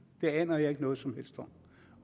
det aner jeg ikke noget som helst om